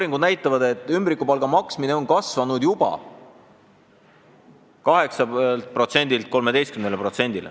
Need näitavad, et ümbrikupalga maksmine on kasvanud juba 8%-lt 13%-le.